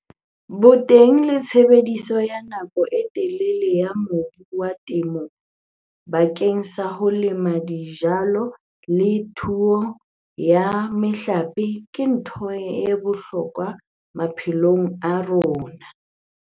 Boteng le tshebediso ya nako e telele ya mobu wa temo bakeng sa ho lema dijalo le thuo ya mehlape ke ntho ya bohlokwa maphelong a rona.